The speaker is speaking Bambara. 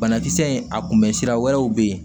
Banakisɛ in a kunbɛ sira wɛrɛw bɛ yen